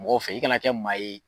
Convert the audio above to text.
Mɔgɔ fɛ, i ka na kɛ maa ye